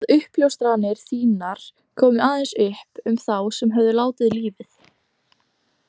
Að uppljóstranir þínar komu aðeins upp um þá sem þegar höfðu látið lífið?